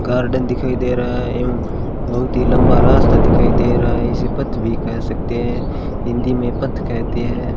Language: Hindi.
गार्डन दिखाई दे रहा है एवं बहुत ही लंबा रास्ता दिखाई दे रहा है इसे पथ भी कह सकते हैं हिंदी में पथ कहते हैं।